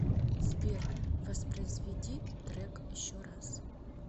сбер воспроизведи трек еще раз